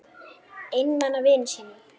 Einmana vinum mínum.